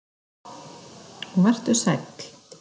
Og vertu sæll.